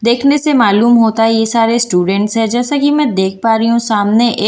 देखने से मालूम होता है ये सारे स्टूडेंट्स है जैसा कि मैं देख पा रही हूं सामने ए--